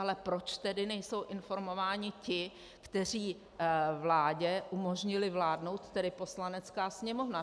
Ale proč tedy nejsou informováni ti, kteří vládě umožnili vládnout, tedy Poslanecká sněmovna?